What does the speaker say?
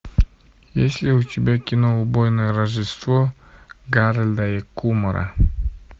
есть ли у тебя кино убойное рождество гарольда и кумара